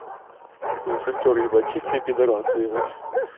фу шахтёр ебать чистые пидарасы ебать